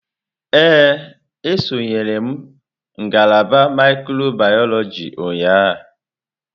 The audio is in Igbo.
Ee, esonyere m ngalaba mikrobiyọlojị ụnyahụ.